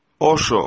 Oşo.